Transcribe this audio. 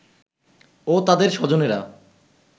ও তাদের স্বজনেরা